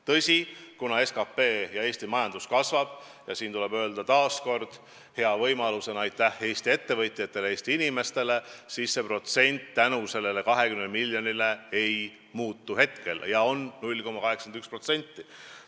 Tõsi, kuna SKT ja Eesti majandus kasvab – ja siin on taas hea võimalus öelda aitäh Eesti ettevõtjatele, Eesti inimestele –, siis see protsent nende 20 lisamiljoni mõjul ei muutu ja on 0,81%.